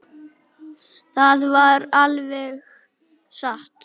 Það var alveg satt.